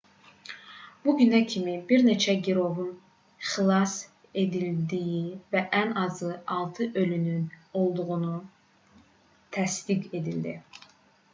bu günə kimi bir neçə girovun xilas edildiyi və ən azı 6 ölünün olduğu təsdiq edildi